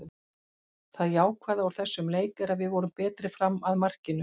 Það jákvæða úr þessum leik er að við vorum betri fram að markinu.